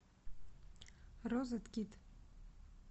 розеткид